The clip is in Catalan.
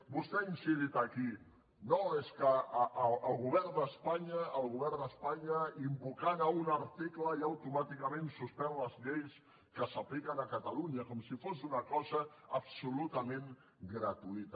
vostè ha incidit aquí no és que el govern d’espanya invocant un article ja automàticament suspèn les lleis que s’apliquen a catalunya com si fos una cosa absolutament gratuïta